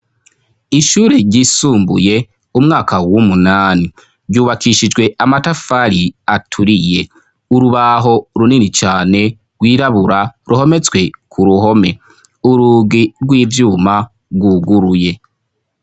Ishure ryisumbuye umwaka w'umunani, ryubakishijwe amatafari aturiye. Urubaho runini cane rwirabura ruhometswe ku ruhome, urugi rw'ivyuma rwuguruye.